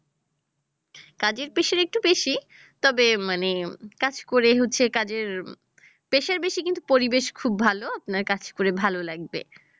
কাজের pressure একটু বেশী তবে মানে কাজ করে হচ্ছে কাজের pressure বেশী কিন্তু পরিবেশ খুব ভাল, আপনার কাজ করে ভাল লাগবে